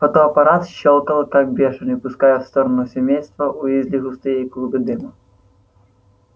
фотоаппарат щёлкал как бешеный пуская в сторону семейства уизли густые клубы дыма